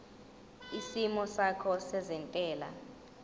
isimo sakho sezentela